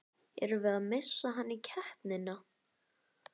Erum við að missa hann í keppnina?